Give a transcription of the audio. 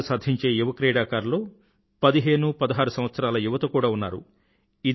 పతకాలు సాధించే యువ క్రీడాకారుల్లో పదిహేను పదహారు సంవత్సరాల యువత కూడా ఉన్నారు